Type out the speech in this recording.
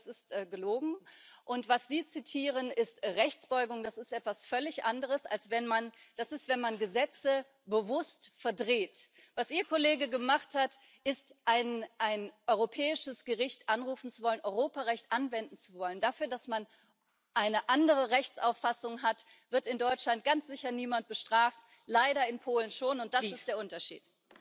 Also das ist gelogen. Und was Sie zitieren, ist Rechtsbeugung. Das ist etwas völlig anderes das ist, wenn man Gesetze bewusst verdreht. Was Ihr Kollege gemacht hat, ist, ein europäisches Gericht anrufen zu wollen, Europarecht anwenden zu wollen. Dafür, dass man eine andere Rechtsauffassung hat, wird in Deutschland ganz sicher niemand bestraft, leider in Polen schon, und das ist der Unterschied.